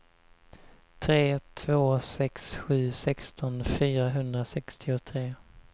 tre två sex sju sexton fyrahundrasextiotre